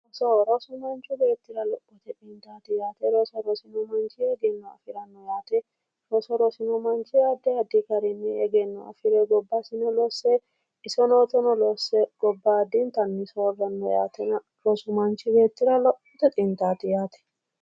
Rosoho, rosoho yaa manchu beettira lophote xintaati yaate. roso rosino manchi egenno afiranno yaate. roso rosino manchi addi addi garinni egenno afire gobbasino losse isonotono losse gobbaadintanni saawanno yaatena, rosu manchi beettira lophote xintaati yaate.